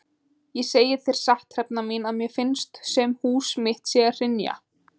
Ég segi þér satt Hrefna mín að mér finnst sem hús mitt sé að hrynja.